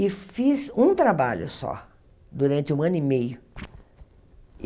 E fiz um trabalho só, durante um ano e meio.